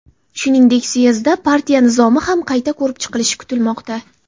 Shuningdek, syezdda partiya nizomi ham qayta ko‘rib chiqilishi kutilmoqda.